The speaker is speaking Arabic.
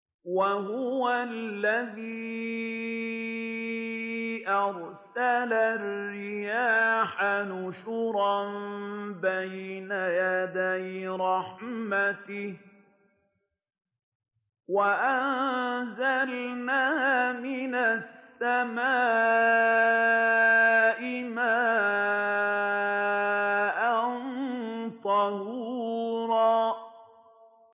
وَهُوَ الَّذِي أَرْسَلَ الرِّيَاحَ بُشْرًا بَيْنَ يَدَيْ رَحْمَتِهِ ۚ وَأَنزَلْنَا مِنَ السَّمَاءِ مَاءً طَهُورًا